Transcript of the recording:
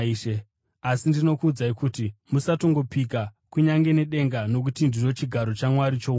Asi ndinokuudzai kuti, Musatongopika: kunyange nedenga nokuti ndiro chigaro chaMwari choumambo;